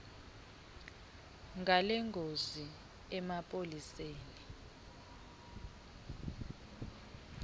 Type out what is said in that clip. ngale ngozi emapoliseni